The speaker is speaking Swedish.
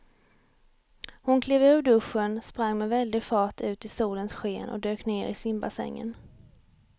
Hon klev ur duschen, sprang med väldig fart ut i solens sken och dök ner i simbassängen.